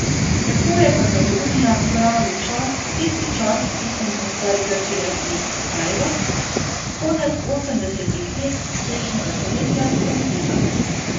Tako je Katalonija pravi čas, tisti čas, ki so mu stari Grki rekli kairos, konec osemdesetih let prejšnjega stoletja zamudila.